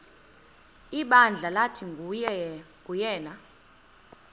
ibandla lathi nguyena